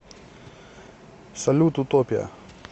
салют утопия